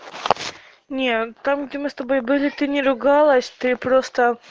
нет там где мы с тобой были ты не ругалась ты просто